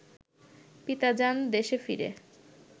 পিতা যান দেশে ফিরে